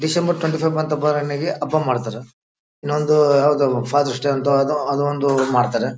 December twenty four ಬಂತು ಹಬ್ಬ ಮಾಡ್ತಾರ ಇನ್ನೊಂದ್ ಯಾವುದೊ ಫಾದೆರ್ಸ್ ಡೇ ಅಂತ ಅದೊಂದು ಮಾಡ್ತಾರೆ .